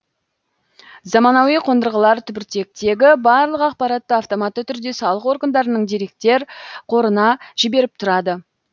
заманауи қондырғылар түбіртектегі барлық ақпаратты автоматты түрде салық органдарының деректер қорына жіберіп тұрады